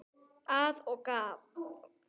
Að og af.